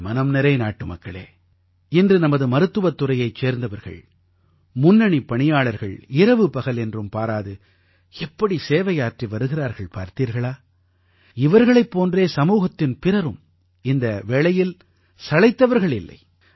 என் மனம்நிறை நாட்டுமக்களே இன்று நமது மருத்துவத் துறையைச் சேர்ந்தவர்கள் முன்னணிப் பணியாளர்கள் இரவுபகல் என்றும் பாராது எப்படி சேவையாற்றி வருகிறார்கள் பார்த்தீர்களா இவர்களைப் போன்றே சமூகத்தின் பிறரும் இந்த வேளையில் சளைத்தவர்கள் இல்லை